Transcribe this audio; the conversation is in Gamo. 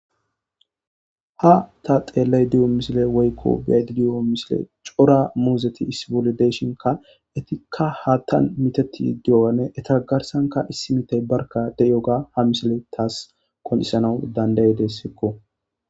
Ha ta xeellay di'o misile woyiko bi'aydidiyo misile cora muuzeti issi bolle deyshinka etikka haattan miteti dioane etagarsanka issi mitey barka de'yo ga ha misile taas konisanawu dandaydesko